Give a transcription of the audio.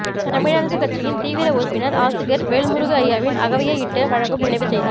தமிழரசு கட்சியின் தீவிர உறுப்பினர் ஆசிரியர் வேல்முருகு ஐயாவின் அகவையை இட்டு வழங்கும் நினைவு செய்தி